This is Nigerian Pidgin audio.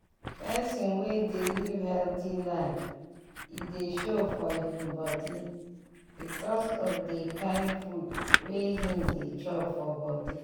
person wey dey live healthy life e dey show for him body because of dey kind food wey him dey chop for body.